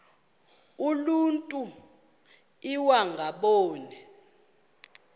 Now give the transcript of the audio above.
uluntu iwaba ngaboni